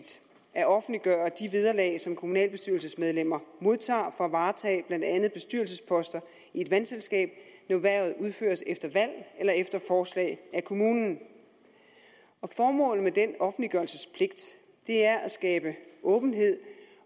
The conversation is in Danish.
at offentliggøre de vederlag som kommunalbestyrelsesmedlemmer modtager for at varetage blandt andet bestyrelsesposter i et vandselskab når hvervet udføres efter valg eller efter forslag af kommunen formålet med den offentliggørelsespligt er at skabe åbenhed